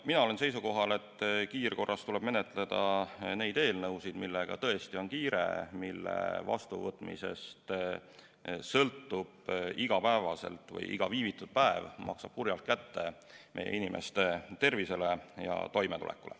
Mina olen seisukohal, et kiirkorras tuleb menetleda neid eelnõusid, millega tõesti on kiire, mille korral iga viivitatud päev maksab kurjalt kätte meie inimeste tervisele ja toimetulekule.